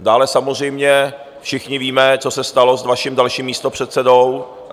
Dále samozřejmě všichni víme, co se stalo s vaším dalším místopředsedou.